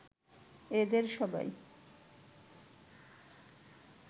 এদের সবাই